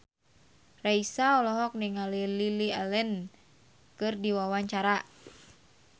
Raisa olohok ningali Lily Allen keur diwawancara